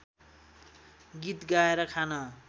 गीत गाए खान